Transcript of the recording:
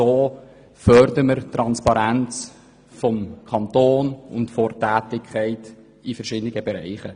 So fördern wir die Transparenz des Kantons und der Tätigkeiten verschiedener Bereiche.